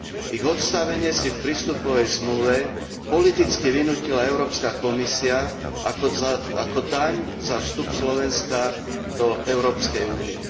Ich odstavenie si v prístupovej zmluve politicky vynútila Európska komisia ako daň za vstup Slovenska do Európskej únie.